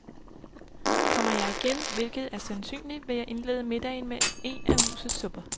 Kommer jeg igen, hvilket er sandsynligt, vil jeg indlede middagen med en af husets supper.